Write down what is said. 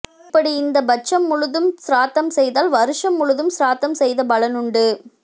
இப்படி இந்தப் பட்சம் முழுதும் சிராத்தம் செய்தால் வருஷம் முழுதும் சிராத்தம் செய்த பலனுண்டு